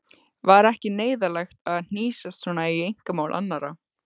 Var ekki neyðarlegt að hnýsast svona í einkamál annarra?